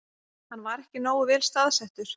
Hann var ekki nógu vel staðsettur